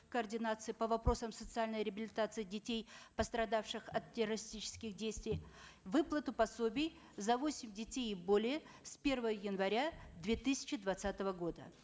координации по вопросам социальной реабилитации детей пострадавших от террористических действий выплату пособий за восемь детей и более в первого января две тысячи двадцатого года